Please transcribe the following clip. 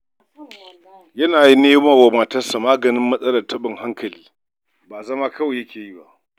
Yana nema wa matarsa maganin taɓin hankali, ba zama kawai ya yi ba.